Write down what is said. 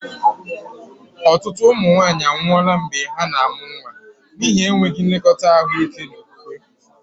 Ọtụtụ ụmụ nwanyị anwụọla mgbe ha na-amụ nwa n'ihi enweghị nlekọta ahụike na okwukwe.